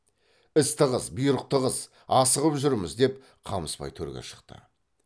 іс тығыз бұйрық тығыз асығып жүрміз деп қамысбай төрге шықты